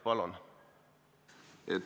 Palun!